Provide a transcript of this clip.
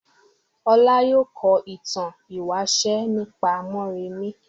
Ọlá yóò kọ ìtàn ìwáṣẹ̀ nípa Mórèmí.